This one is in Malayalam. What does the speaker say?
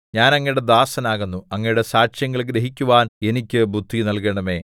ഞാൻ അങ്ങയുടെ ദാസൻ ആകുന്നു അങ്ങയുടെ സാക്ഷ്യങ്ങൾ ഗ്രഹിക്കുവാൻ എനിക്ക് ബുദ്ധി നല്കണമേ